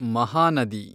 ಮಹಾನದಿ